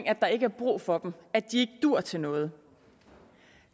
at der ikke er brug for dem at de ikke duer til noget